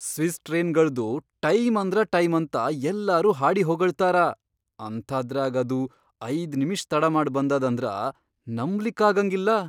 Swiss ಟ್ರೇನ್ಗಳ್ದು time ಅಂದ್ರ time ಅಂತ ಯಲ್ಲಾರೂ ಹಾಡಿ ಹೊಗಳ್ತಾರ ಅಂಥಾದ್ರಾಗ್ ಅದು ಐದ್ ನಿಮಿಷ್ ತಡಾಮಾಡ್ ಬಂದದಂದ್ರ ನಂಬ್ಲಿಕ್ಕಾಗಂಗಿಲ್ಲ.